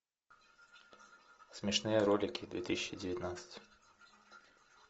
смешные ролики две тысячи девятнадцать